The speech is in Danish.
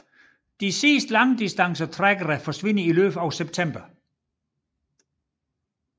De sidste langdistancetrækkere forsvinder i løbet af september